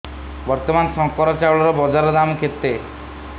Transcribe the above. ବର୍ତ୍ତମାନ ଶଙ୍କର ଚାଉଳର ବଜାର ଦାମ୍ କେତେ